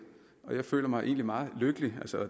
jeg føler mig egentlig meget lykkelig